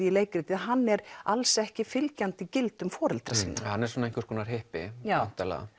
í leikritið hann er alls ekki fylgjandi gildum foreldra sinna hann er einhvers konar hippi já